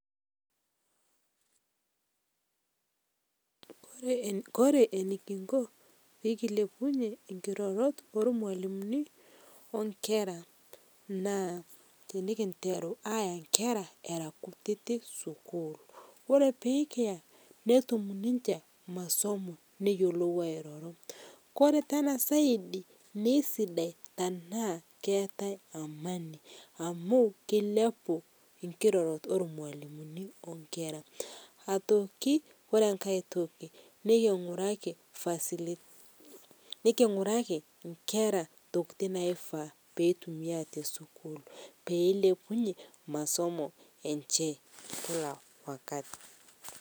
Kore enikinkoo pikilepunyee enkirorot olmaalimoni onkeraa naa tinikinteruu ayaa nkera eraa kutitii Sukuul, ore pikiya netum ninshee masomo, neyelou airoro, kore pee nezaidii neisidai tanaa keatai amani, amu keiliapu nkirorot elmaalimoni onkeraa aitokii kore ng'hai toki niking'uraki nkeraa ntokitin naifaa peitumiyaa te sukuul peilepunyee masomo enshee Kila wakati.